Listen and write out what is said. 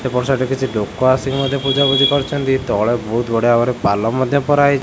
ସେପଟ ସାଇଟ ରେ କିଛି ଲୋକ ଆସିକି ମଧ୍ୟ ପୂଜାପୂଜି କରୁଛନ୍ତି ତଳେ ବହୁତ ବଢ଼ିଆ ଭାବରେ ପାଲ ମଧ୍ୟ ପରା ହେଇ --